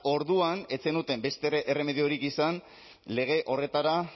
orduan ez zenuten beste erremediorik izan lege horretara